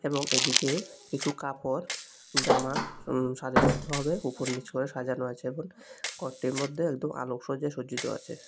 এবং এদিকে কিছু কাপড় জামা সারিবদ্ধ ভাবে উপর নিচ করে সাজানো আছে ঘরটির মধ্যে একদম আলোকসজ্জাতে সজ্জিত আছে।